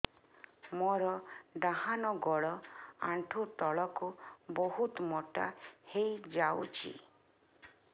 ମୋର ଡାହାଣ ଗୋଡ଼ ଆଣ୍ଠୁ ତଳକୁ ବହୁତ ମୋଟା ହେଇଯାଉଛି